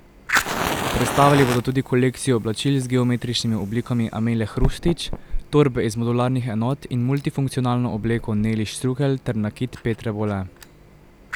Predstavili bodo tudi kolekcijo oblačil z geometričnimi oblikami Amile Hrustić, torbe iz modularnih enot in multifunkcionalno obleko Neli Štrukelj ter nakit Petre Bole.